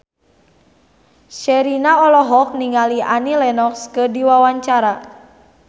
Sherina olohok ningali Annie Lenox keur diwawancara